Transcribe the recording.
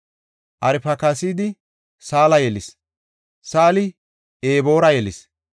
Arfakisaadi Saala yelis; Saali Eboora yelis.